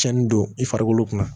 Cɛnnin don i farikolo kunna